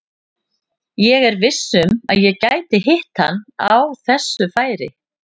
Ég er viss um að ég gæti hitt hann á þessu færi.